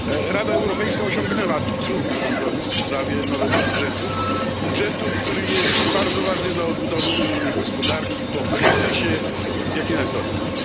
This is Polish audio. Rada Europejska osiągnęła trudny kompromis w sprawie nowego budżetu budżetu, który jest bardzo ważny dla odbudowy unijnej gospodarki po kryzysie, jaki nas dotknął.